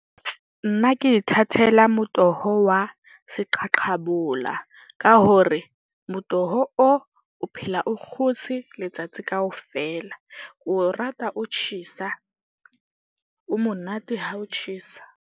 Nna ke ithathela motoho wa se qhaqhabola, ka hore motoho o o phela o kgotse letsatsi kaofela. Ke o rata o tjhesa, o monate ha o tjhesa.